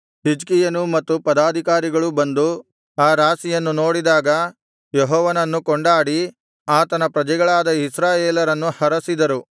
ಹಿಜ್ಕೀಯನೂ ಮತ್ತು ಪದಾಧಿಕಾರಿಗಳೂ ಬಂದು ಆ ರಾಶಿಗಳನ್ನು ನೋಡಿದಾಗ ಯೆಹೋವನನ್ನು ಕೊಂಡಾಡಿ ಆತನ ಪ್ರಜೆಗಳಾದ ಇಸ್ರಾಯೇಲರನ್ನು ಹರಸಿದರು